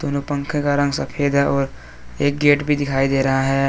उन पंखे का रंग सफेद है और एक गेट भी दिखाई दे रहा है।